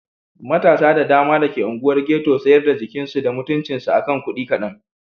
Matasa da dama da ke unguwar Ghetto sayar da jikinsu da mutuncinsu a kan kudi kadan.